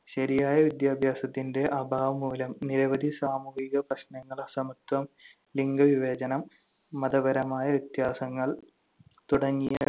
ശരിയായ വിദ്യാഭ്യാസത്തിന്‍റെ അഭാവം മൂലം നിരവധി സാമൂഹിക പ്രശ്നങ്ങൾ അസമത്വം, ലിംഗവിവേചനം, മതപരമായ വ്യത്യാസങ്ങൾ തുടങ്ങിയ